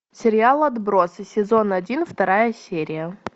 сериал отбросы сезон один вторая серия